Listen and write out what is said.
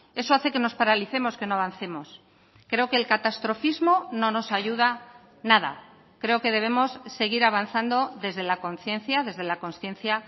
eso hace que nos paralicemos que no avancemos creo que el catastrofismo no nos ayuda nada creo que debemos seguir avanzando desde la conciencia desde la consciencia